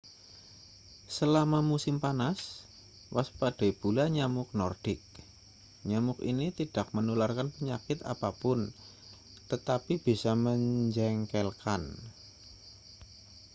selama musim panas waspadai pula nyamuk nordik nyamuk ini tidak menularkan penyakit apa pun tetapi bisa menjengkelkan